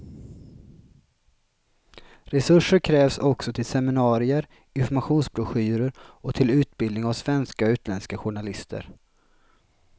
Resurser krävs också till seminarier, informationsbroschyrer och till utbildning av svenska och utländska journalister.